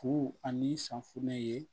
Fuu ani safunɛ ye